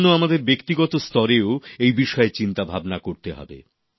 এইজন্য আমাদের ব্যক্তিগত স্তরেও এই বিষয়ে চিন্তাভাবনা করতে হবে